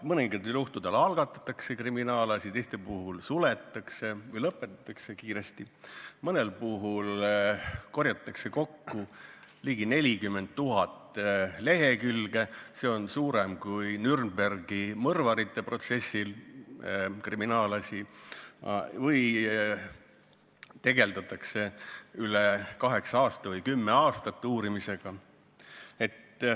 Mõningatel juhtudel algatatakse kriminaalasi, teiste puhul suletakse või lõpetatakse kiiresti, mõnel puhul korjatakse kokku ligi 40 000 lehekülge materjali – seda on rohkem kui Nürnbergi mõrvarite kohtuprotsessi kriminaalasja puhul – või tegeldakse üle kaheksa aasta või kümme aastat mingi asja uurimisega.